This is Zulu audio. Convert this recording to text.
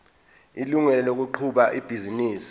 ilungelo lokuqhuba ibhizinisi